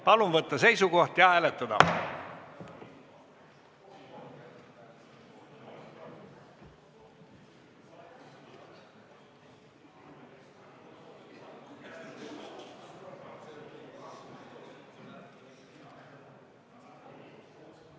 Palun võtta seisukoht ja hääletada!